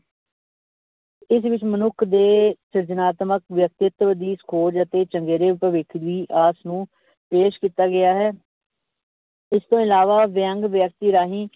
ਇਸ ਵਿੱਚ ਮਨੁੱਖ ਦੇ ਸਿਰਜਣਾਤਮਕ ਵਿਅਕਤਿਤਵ ਦੀ ਖੋਜ ਅਤੇ ਚੰਗੇਰੇ ਭਵਿੱਖ ਦੀ ਆਸ ਨੂੰ ਪੇਸ਼ ਕੀਤਾ ਗਿਆ ਹੈ ਇਸਤੋਂ ਇਲਾਵਾ ਵਿਅੰਗ ਵਿਅਕਤੀ ਰਾਹੀਂ